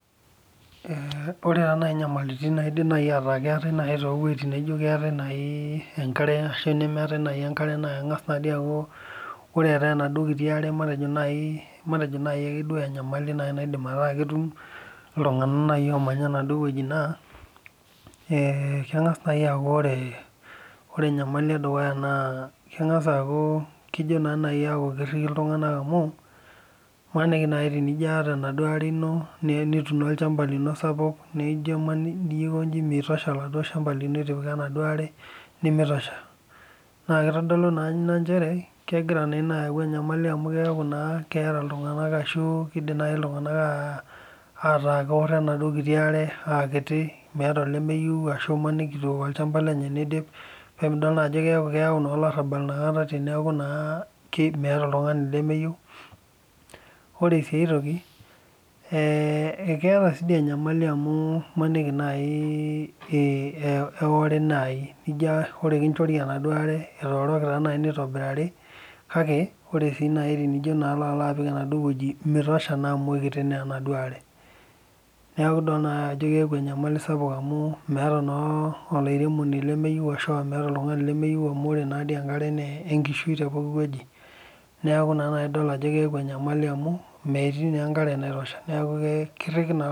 Ore taa naaji nyamalitn naidimi ataa keeta too wuejitin naataenkare arashu neemtae enkare keng'as aku ore etae enaduo kitu are matejo naaji ake duo enyamali natumi iltung'ana omanya enaduo wueji naa ee keng'as naaji aaku ore enyamali eduya naa kejo naaji aku kiriki iltung'ana amu emaniki naaji tenijo ata enaduo are nitumo olchamba lino sapuk nijo aikoji miosho oladuo shamba lino etipika enaduo are nimitosho naa kegira nas aitolu njere kegira eyau enyamali amu kiaku naa keeta iltung'ana arashu keeku keeta naaji iltung'ana keoro enaduo are aa kiti metaa olemeyiu na emaniki eitu ewok olchamba lenye nidip pemidol naa Ajo keyau olarabal enakata teku meeta oltung'ani lemeyiru ore sii aitoki eketa sii enyamali amu maniki naaji eore naaji nijo ore kinjoki enaduo are etorooki taa naji nitobirari kake ore tenijo aloo apik anafuo wueji mitosha naa amu kikiti enaduo arenerku edol Ajo keeku enyamali sapuk amu meeta naa olairemoni lemeyieu arashu meeta oltung'ani lemeyieu amu ore naadoi enkare naa enkishui tee pooki wueji neeku edol naaji Ajo keeku enyamali amu metii naa enkare naitosha neeku kiriki naa iltung'ana